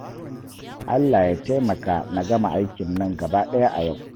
Allah ya taimaka na gama aikin nan gabaɗaya a yau